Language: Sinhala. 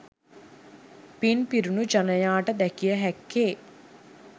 පින් පිරුණු ජනයාට දැකිය හැක්කේ